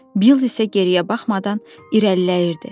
Bill isə geriyə baxmadan irəliləyirdi.